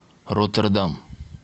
роттердам